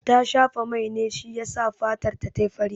Ta shafa mai ne shi yasa fatarta ta yi fari.